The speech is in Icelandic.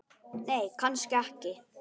Nei, kannski ekki.